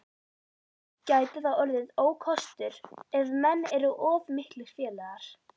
Gæti það orðið ókostur ef menn eru of miklir félagar?